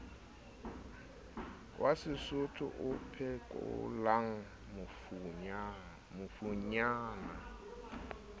wa sesotho o phekolang mafunyana